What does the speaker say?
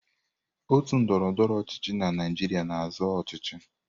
Otu ndọrọndọrọ ọchịchị na Naịjirịa na-azọ ọchịchị.